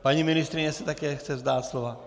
Paní ministryně se také chce vzdát slova?